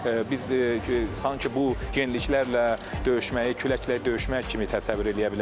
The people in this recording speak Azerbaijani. Biz sanki bu yeniliklərlə döyüşməyi, küləklə döyüşmək kimi təsəvvür eləyə bilərik.